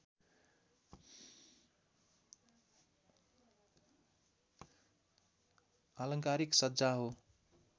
आलङ्कारिक सज्जा हो